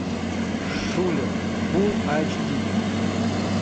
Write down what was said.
шулер фул айч ди